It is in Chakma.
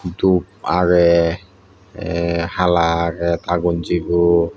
dup age te hala age ta gonjibot.